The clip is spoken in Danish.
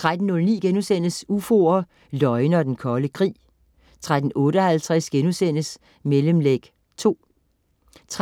13.09 UFOer, løgne og den kolde krig* 13.58 Mellemlæg 2* 13.59